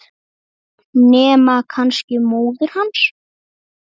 Nema kannski móðir hans.